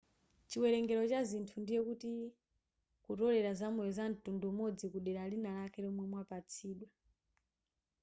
chiwerengero cha zinthu ndiye kuti kutolela zamoyo zamtundu umodzi kudera linalake lomwe mwapatsidwa